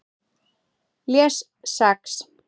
Les Sex